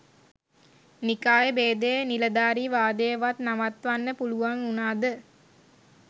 නිකාය බේදය නිලධාරි වාදය වත් නවත්වන්න පුලුවන් වුනාද?